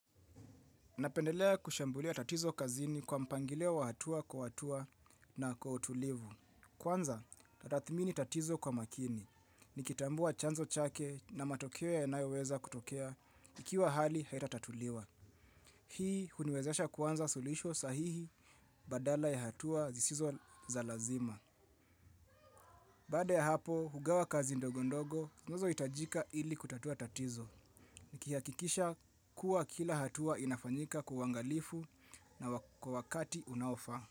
Napendelea kushambulia tatizo kazini kwa mpangilio wa hatua kwa hatua na kwa utulivu. Kwanza, tathmini tatizo kwa makini. Nikitambua chanzo chake na matokeo yanayo weza kutokea ikiwa hali haitatatuliwa. Hii, huniwezesha kwanza sulisho sahihi badala ya hatua zisizo za lazima. Baada ya hapo, hugawa kazi ndogo ndogo, zinazo hitajika ili kutatua tatizo. Nikihakikisha kuwa kila hatua inafanyika kwa uangalifu na kwa wakati unaofa.